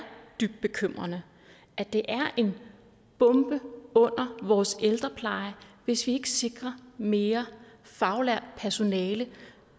dybt bekymrende at det er en bombe under vores ældrepleje hvis vi ikke sikrer mere faglært personale